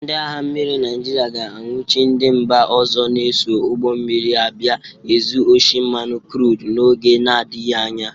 Ndị agha mmiri Naịjịrịa ga-anwụchi ndị mba ọzọ na-eso ụgbọ mmiri abịa ezu oshi mmanụ krud n'oge nadịghị anya.